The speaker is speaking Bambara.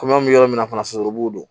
Kɔmi an bɛ yɔrɔ min na fana fana sulu b'o don